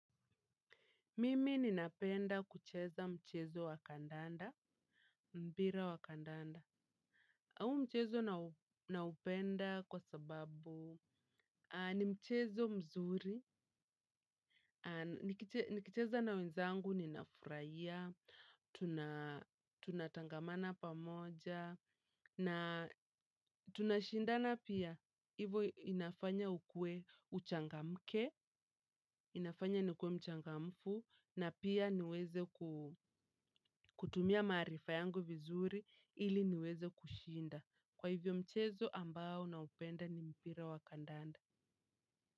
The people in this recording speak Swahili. Mimi ninapenda kucheza mchezo wa kandanda, mpira wa kandanda, au mchezo naupenda kwa sababu ni mchezo mzuri, nikicheza na wenzangu ninafuraia, tunatangamana pamoja, na tunashindana pia, hivo inafanya ukue uchangamke, inafanya nikuwe mchangamfu, na pia niweze kutumia maarifa yangu vizuri ili niweze kushinda. Kwa hivyo mchezo ambao naupenda ni mpira wa kandanda.